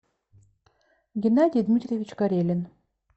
геннадий дмитриевич карелин